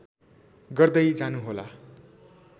गर्दै जानुहोला